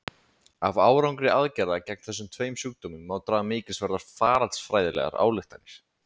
Af árangri aðgerða gegn þessum tveim sjúkdómum má draga mikilsverðar faraldsfræðilegar ályktanir.